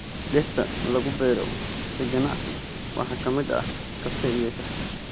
Dhirta lagu beero si ganacsi waxaa ka mid ah kafee iyo shaah.